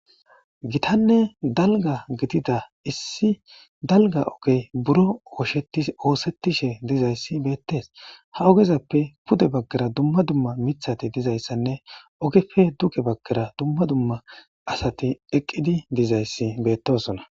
Gitanne dalga gidida issi dalga ogey buron osetishe dizaysi betes, ha ogezappe pude bagara dumma dumma mithati dizaysanne ogeppe duge bagara dumma dumma asati eqid dizaysi betosona.